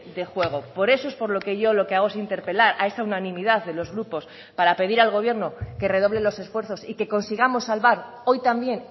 de juego por eso es por lo que yo lo que hago es interpelar a esa unanimidad de los grupos para pedir al gobierno que redoble los esfuerzos y que consigamos salvar hoy también